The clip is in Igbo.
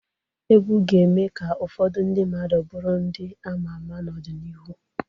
Egwu ga-eme ka ụfọdụ ndị mmadụ bụrụ ndị ama ama n'ọdịnihu